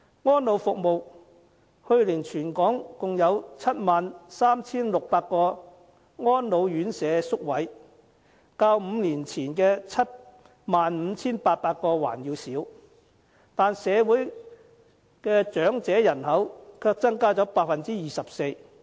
在安老服務上，去年全港共有 73,600 個安老院舍宿位，較5年前的 75,800 個還要少，但社會長者人口卻增加了 24%。